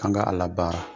An ka a labaara